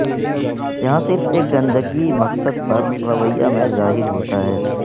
یہاں صرف ایک گندگی مقصد پر رویا میں ظاہر ہوتا ہے